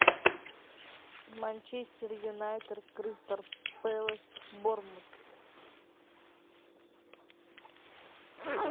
манчестер юнайтед кристал пэлас борнмут